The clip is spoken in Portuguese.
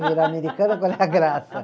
Virar americana, qual é a graça?